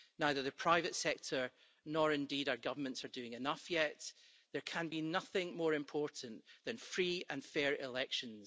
Neither the private sector nor indeed our governments are doing enough yet. There can be nothing more important than free and fair elections.